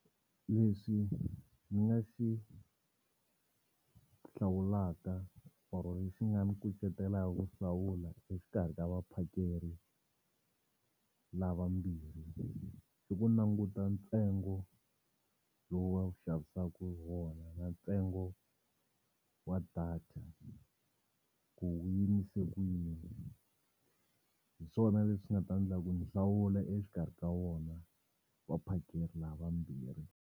Leswi ni nga swi hlawulaka or lexi nga ni kucetelaka ku hlawula exikarhi ka vaphakeri lavambirhi i ku languta ntsengo lowu va wu xavisaka hi wona na ntsengo wa data ku wu yimise ku yini. Hi swona leswi nga ta endla ku ni hlawula exikarhi ka vona vaphakeri lavambirhi.